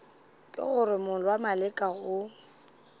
ke gore morwa maleka o